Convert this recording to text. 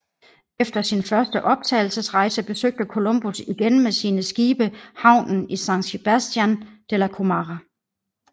Efter sin første opdagelsesrejse besøgte Columbus igen med sine skibe havnen i San Sebastián de La Gomera